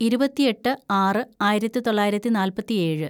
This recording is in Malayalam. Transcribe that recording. ഇരുപത്തിയെട്ട് ആറ് ആയിരത്തിതൊള്ളായിരത്തി നാല്‍പത്തിയേഴ്‌